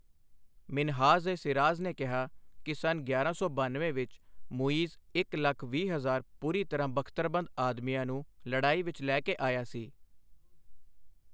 ਮਿਨਹਾਜ਼ ਏ ਸਿਰਾਜ ਨੇ ਕਿਹਾ ਕਿ ਸੰਨ ਗਿਆਰਾਂ ਸੌ ਬਨਵੇਂ ਵਿੱਚ ਮੁਈਜ਼ ਇੱਕ ਲੱਖ ਵੀਹ ਹਜਾਰ ਪੂਰੀ ਤਰ੍ਹਾਂ ਬਖ਼ਤਰਬੰਦ ਆਦਮੀਆਂ ਨੂੰ ਲੜਾਈ ਵਿੱਚ ਲੈ ਕੇ ਆਇਆ ਸੀ।